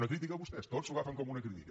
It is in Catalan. una crítica vostès tot s’ho agafen com una crítica